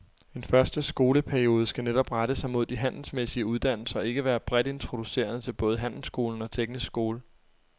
En første skoleperiode skal netop rette sig mod de handelsmæssige uddannelser og ikke være bredt introducerende til både handelsskolen og teknisk skole.